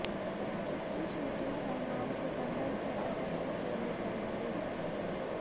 इसकी शूटिंग सलमान सितंबर के अंत में पूरी करेंगे